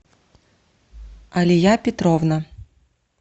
алия петровна